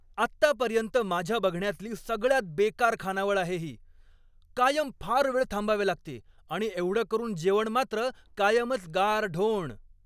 आत्तापर्यंत माझ्या बघण्यातली सगळ्यात बेकार खानावळ आहे ही. कायम फार वेळ थांबावे लागते आणि एवढं करून जेवण मात्र कायमच गारढोण.